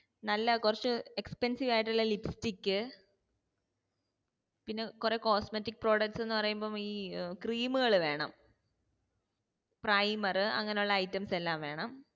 നല്ല കുറച്ചു expensive ആയിട്ട് ഉള്ള lipstick പിന്നെ കുറെ cosmetic product ന്നു പറയുമ്പോ ഈ cream ഉകൾ വേണം primer അങ്ങനെ ഉള്ള items എല്ലാം വേണം